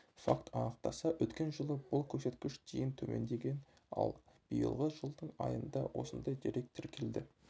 факт анықтаса өткен жылы бұл көрсеткіш дейін төмендеген ал биылғы жылдың айында осындай дерек тіркелді